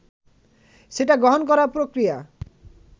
সেটা গ্রহণ করার প্রক্রিয়া